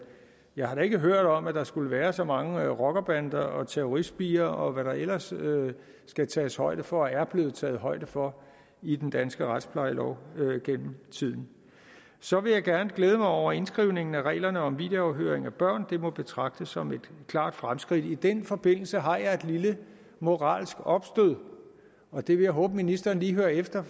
jeg har da ikke hørt om at der skulle være så mange rockerbander og terroristspirer og hvad der ellers skal tages højde for og er blevet taget højde for i den danske retsplejelov gennem tiden så vil jeg gerne glæde mig over indskrivningen af reglerne om videoafhøring af børn det må betragtes som et klart fremskridt i den forbindelse har jeg et lille moralsk opstød og det vil jeg håbe ministeren lige hører efter